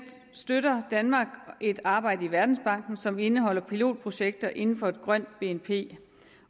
støtter danmark et arbejde i verdensbanken som indeholder pilotprojekter inden for et grønt bnp